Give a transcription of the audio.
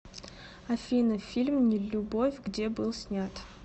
афина фильм не любовь где был снят